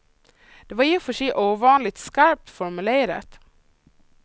Det var i och för sig ovanligt skarpt formulerat.